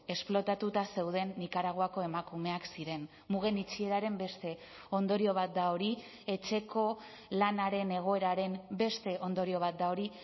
esplotatuta zeuden nikaraguako emakumeak ziren mugen itxieraren beste ondorio bat da hori etxeko lanaren egoeraren beste ondorio bat da hori